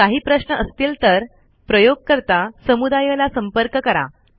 जर काही प्रश्न असतील तर प्रयोगकरता समुदाय ला संपर्क करा